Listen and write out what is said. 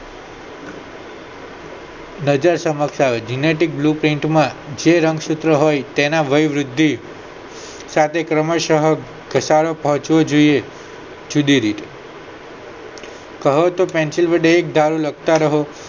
નજર સમક્ષ આવે છે genetic bluprint માં જે રંગસૂત્ર હોય તેના વયવૃદ્ધિ સાથે ક્રમશ ઘસારો પહોંચવો જોયે જુદી રીતે કહો તો penshil વડે એકધારું લખતા રહો